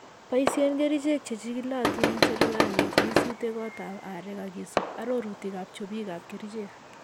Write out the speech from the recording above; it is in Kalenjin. Boisien kerichek chechigilotiin en serkalit yeisuute kotab areek ak isub arorutikab chopikak kerichek.